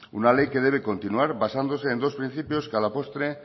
una ley que debe continuar basándose en dos principios que a la postre